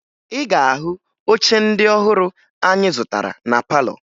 Ị ga-ahụ oche ndị ọhụrụ anyị zụtara na palọ